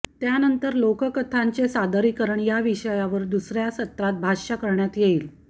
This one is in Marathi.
त्यानंतर लोककथांचे सादरीकरण या विषयावर दुसऱ्या सत्रात भाष्य करण्यात येईल